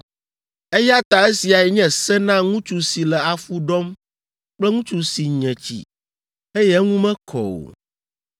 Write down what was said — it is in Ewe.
Eya ta esiae nye se na ŋutsu si le afu ɖɔm kple ŋutsu si nye tsi, eye eŋu mekɔ o,